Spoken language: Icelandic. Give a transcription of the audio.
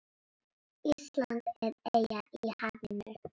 Ísland er eyja í hafinu.